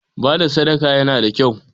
Bada sadaka yana da kyau